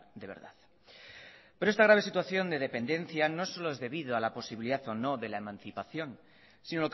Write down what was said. de verdad pero esta grave situación de dependencia no solo es debido a la posibilidad o no de la emancipación si